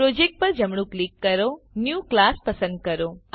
project પર જમણું click કરો ન્યૂ ક્લાસ પસંદ કરો